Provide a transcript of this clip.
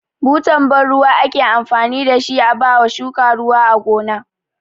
Butan ban ruwa ake amfani da shi a ba shuka ruwa a gona.